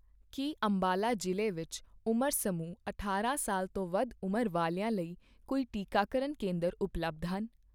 ਕੀ ਅੰਬਾਲਾ ਜ਼ਿਲ੍ਹੇ ਵਿੱਚ ਉਮਰ ਸਮੂਹ ਅਠਾਰਾਂ ਸਾਲ ਤੋਂ ਵੱਧ ਉਂਮਰ ਵਾਲਿਆਂ ਲਈ ਕੋਈ ਟੀਕਾਕਰਨ ਕੇਂਦਰ ਉਪਲਬਧ ਹਨ?